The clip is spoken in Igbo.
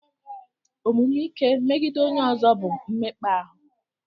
Omume ike megide onye ọzọ bụ mmekpa ahụ.